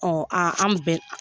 Ɔ a an bɛɛ